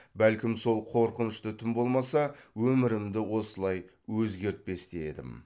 бәлкім сол қорқынышты түн болмаса өмірімді осылай өзгертпес те едім